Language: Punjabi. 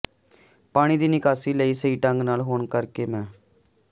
ਪਾਣੀ ਦੀ ਨਿਕਾਸੀ ਲਈ ਸਹੀ ਢੰਗ ਨਾਲ ਹੋਣ ਕਰਕੇ ਮੰ